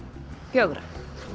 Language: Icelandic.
fjögurra